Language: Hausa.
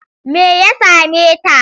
Me ya same ta?